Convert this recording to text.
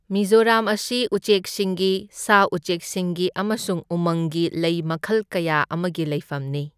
ꯃꯤꯖꯣꯔꯥꯝ ꯑꯁꯤ ꯎꯆꯦꯛꯁꯤꯡꯒꯤ, ꯁꯥ ꯎꯆꯦꯛꯁꯤꯡꯒꯤ ꯑꯃꯁꯨꯡ ꯎꯃꯪꯒꯤ ꯂꯩ ꯃꯈꯜ ꯀꯌꯥ ꯑꯃꯒꯤ ꯂꯩꯐꯝꯅꯤ꯫